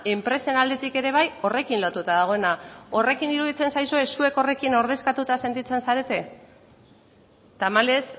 enpresen aldetik ere bai horrekin lotuta dagoena horrekin iruditzen zaizue zuek horrekin ordezkatuta sentitzen zarete tamalez